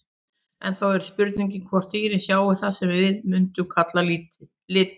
En þá er spurningin hvort dýrin sjái það sem við mundum kalla liti?